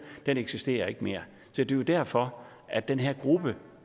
eksisterer ikke mere så det er jo derfor at den her gruppe